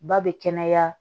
Ba bɛ kɛnɛya